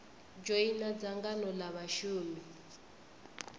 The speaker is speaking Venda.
dzhoina dzangano l a vhashumi